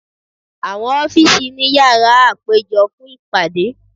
Awọn ọfiisi ni yara apejọ fun ipade